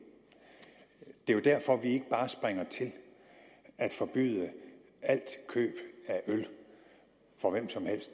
det er jo derfor at vi ikke bare springer til at forbyde alt køb af øl for hvem som helst